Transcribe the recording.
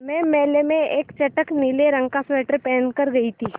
मैं मेले में एक चटख नीले रंग का स्वेटर पहन कर गयी थी